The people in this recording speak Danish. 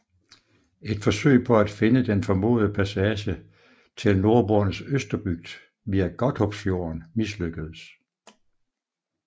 Et forsøg på at finde den formodede passage til Nordboernes Østerbygd via Godthåbfjorden mislykkedes